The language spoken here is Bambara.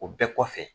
O bɛɛ kɔfɛ